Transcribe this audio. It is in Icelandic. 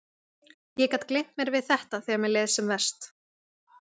Ég gat gleymt mér við þetta þegar mér leið sem verst.